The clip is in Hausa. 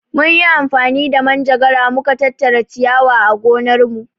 Mun yi amfani da manjagara mu ka tattara ciyawa a gonarmu.